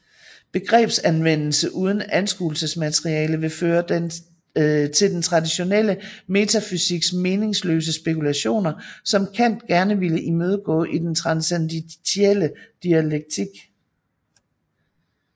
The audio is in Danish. Begrebsanvendelse uden anskuelsesmateriale vil føre til den traditionelle metafysiks meningsløse spekulationer som Kant gerne ville imødegå i den transcendentielle dialektik